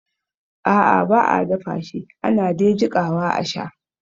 A'a ba a dafashi ana de jikawa a sha